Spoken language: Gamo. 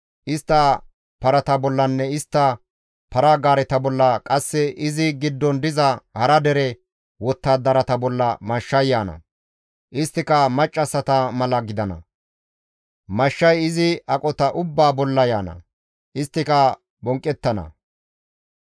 Istta parata bollanne istta para-gaareta bolla qasse izi giddon diza hara dere wottadarata bolla mashshay yaana; isttika maccassata mala gidana; mashshay izi aqota ubbaa bolla yaana; isttika bonqqettana.